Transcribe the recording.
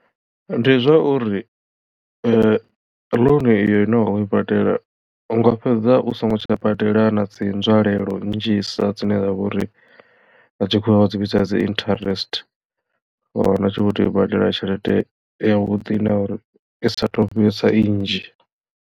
Ndi zwa uri loan iyo ine wa khou i badela unga fhedza u songo tsha badela na dzi nzwalelo nnzhisa dzine dza vha uri nga tshikhuwa vha dzi vhidza dzi interest wa wana u tshi vho tea u badela tshelede yavhuḓi na uri i saatu vhesa i nnzhi.